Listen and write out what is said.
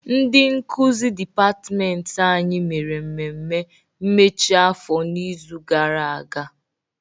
Ndị nkuzi dịpatịmentị anyị mere mmemme mmechi afọ n'izu gara aga.